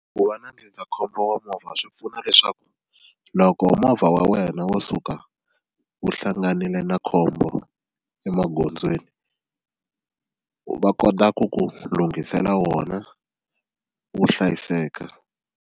Ku va na ndzindzakhombo wa movha swi pfuna leswaku loko movha wa wena wo suka wu hlanganile na khombo emagondzweni va kota ku ku lunghisela wona wu hlayiseka.